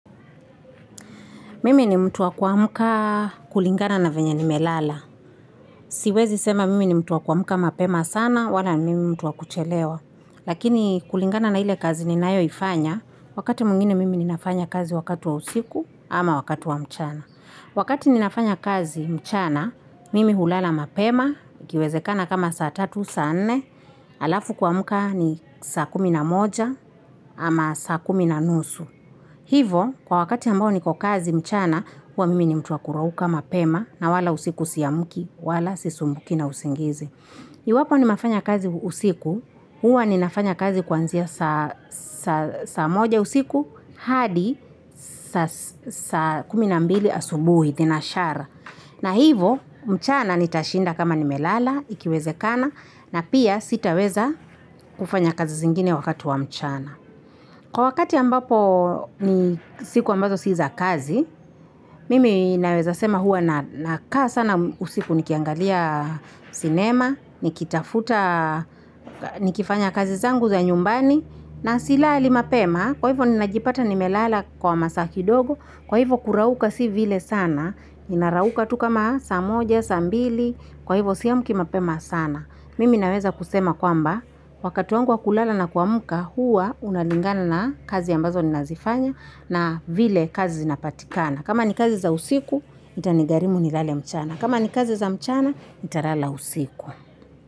Mimi ni mtu wa kuamuka kulingana na venye nimelala. Siwezi sema mimi ni mtu wa kuamuka mapema sana wala mimi ni mtu wakuchelewa. Lakini kulingana na ile kazi ninayo ifanya wakati mwingine mimi ninafanya kazi wakati wa usiku ama wakati wa mchana. Wakati ninafanya kazi mchana mimi hulala mapema ikiwezekana kama saa tatu saa nne alafu kuamuka ni saa kumi na moja ama saa kumi na nusu. Hivo kwa wakati ambao niko kazi mchana huwa mimi ni mtu wa kurauka mapema na wala usiku siamuki wala sisumbuki na usingizi. Iwapo ni mafanya kazi usiku huwa ni nafanya kazi kuanzia saa moja usiku hadi saa kumi na mbili asubuhi tinashara. Na hivo mchana ni tashinda kama ni melala ikiwezekana na pia sitaweza kufanya kazi zingine wakati wa mchana. Kwa wakati ambapo ni siku ambazo siza kazi, mimi naweza sema huwa na kaa sana usiku nikiangaliya sinema, nikitafuta nikifanya kazi zangu za nyumbani, na silali mapema, kwa hivyo ninajipata nimelala kwa masaa kidogo, kwa hivo kurauka si vile sana, ninarauka tu kama saa moja, saa mbili, kwa hivyo si amuki mapema sana. Mimi naweza kusema kwamba wakati wangu wa kulala na kuamuka huwa unalingana na kazi ambazo ninazifanya na vile kazi zinapatikana. Kama ni kazi za usiku, itanigarimu nilale mchana. Kama ni kazi za mchana, nitalala usiku.